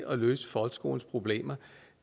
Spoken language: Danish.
at løse folkeskolens problemer